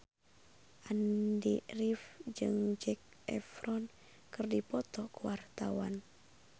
Andy rif jeung Zac Efron keur dipoto ku wartawan